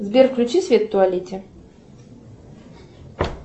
сбер включи свет в туалете